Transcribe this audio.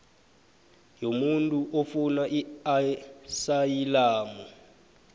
yomuntu ofuna iasayilamu